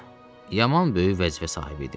Hə, yaman böyük vəzifə sahibi idim.